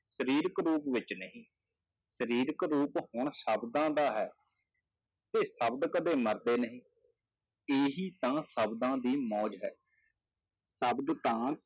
ਸਰੀਰਕ ਰੂਪ ਵਿੱਚ ਨਹੀਂ ਸਰੀਰਕ ਰੂਪ ਹੁਣ ਸ਼ਬਦਾਂ ਦਾ ਹੈ, ਤੇ ਸ਼ਬਦ ਕਦੇ ਮਰਦੇ ਨਹੀਂ, ਇਹੀ ਤਾਂ ਸ਼ਬਦਾਂ ਦੀ ਮੌਜ਼ ਹੈ ਸ਼ਬਦ ਤਾਂ